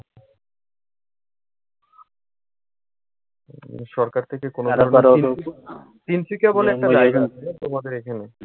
উম সরকার থেকে কোনো ধরনের কিছু তিনশিকা বলে একটা জায়গা আছে হ্যাঁ তোমাদের এখানে।